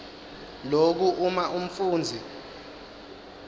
loku uma umfundzi